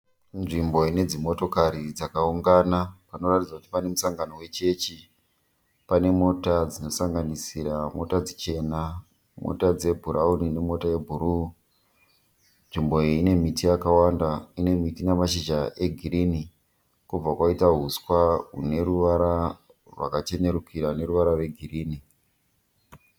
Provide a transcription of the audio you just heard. Nzvimbo ine dzimotikari dzakaungana panoratidza kuti pane musangano wechechi, pane mota dzinosanganisira mota dzichena, mota dzebhurawuni ne mota yebhuruu nzvimbo iyi ine miti yakawanda, ine miti nemashizha egirini, pobva paiita huswa hune ruvara rwakachenurukira neruvara rwe girini,